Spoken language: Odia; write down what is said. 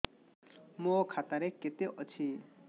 ମୋ ଖାତା ରେ କେତେ ଅଛି